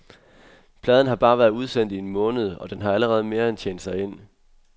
Pladen har bare været udsendt i en måned, og det har allerede mere end tjent sig ind.